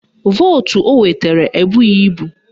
Vootu o nwetara ebughi ibu